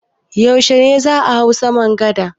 Yaushe ne za a hau saman gada?